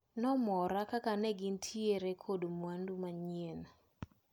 Nomora kaka negintiere kod mwandu manyien.